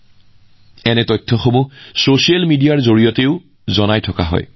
ইয়াত হাতী সম্পৰ্কীয় তথ্যও ছচিয়েল মিডিয়াৰ জৰিয়তে ৰাইজৰ মাজত প্ৰচাৰ কৰা হৈছে